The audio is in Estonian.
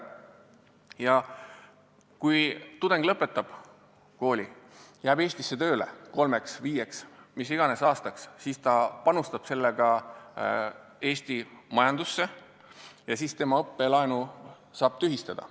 Ja kui tudeng lõpetab kooli, jääb Eestisse tööle kolmeks või viieks aastaks või ükskõik kui kauaks, siis ta panustab sellega Eesti majandusse ja tema õppelaenu saab tühistada.